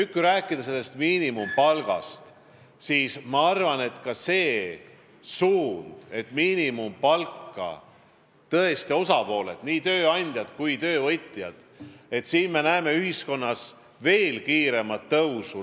Kui nüüd rääkida miinimumpalgast, siis ma arvan, et kindlasti on õige see suund, et mõlemad osapooled, nii tööandjad kui töövõtjad, näevad ühiskonnas veel kiiremat miinimumpalga tõusu.